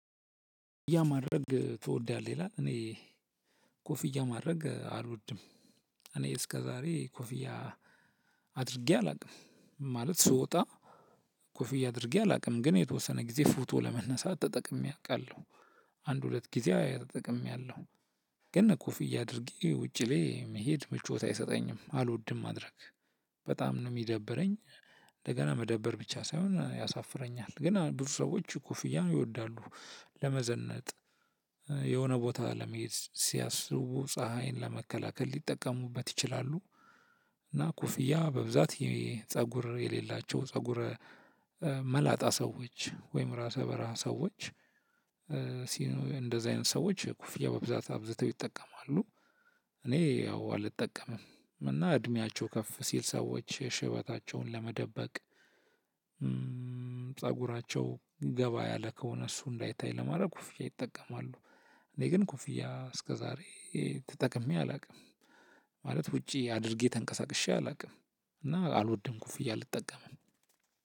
ያን ማድረግ ትወዳለህ? ይላል እኔ ኮፍያ ማድረግ አልወድም። እኔ እስከዛሬ ኮፍያ አድርጌ አላውቅም። ማለት ስወጣ ኮፍያ አድርጌ አላውቅም። ግን የተወሰነ ጊዜ ፎቶ ለመነሳት ተጠቅሜ አውቃለሁ። አንድ ሁለት ጊዜ ተጠቅሚያለሁም። ያለው ግን ኮፍያ አድርጌ ውጪ ላይ መሄድ ምቾት አይሰጠኝም አልወድም ማድረግ በጣም ነው የሚደበረኝ። እንደገና መደበር ብቻ ሳይሆን ያሳፍረኛል። ግን ብዙ ሰዎች ኩፍያ ይወዳሉ ለመዘነጥ። የሆነ ቦታ ለመሄድ ሲያስቡ ፀሀይን ለመከላከል ሊጠቀሙበት ይችላሉ። እና ኩፍያ በብዛት የፀጉር የሌላቸው ፀጉረ መላጣ ሰዎች ወይም ራሰ በርሀ ሰዎች። ሲኖሩ እንደዚህ አይነት ሰዎች ኩፍያ በብዛት አብዝተው ይጠቀማሉ። እኔ ያው አልጠቀምም። እና እድሜያቸው ከፍ ሲል ሰዎች ሽበታቸውን ለመደበቅ። ፀጉራቸው ገባ ያለ ከሆነ እሱ እንዳይታይ ለማድረግ ኩፍ ን ይጠቀማሉ። እኔ ግን ኩፍያ እስከዛሬ ተጠቅሜ አላውቅም። ማለት ውጪ አድርጌ ተንቀሳቅሼ አላውቅም። እና አልወድም ኮፍያ አልጠቀምም።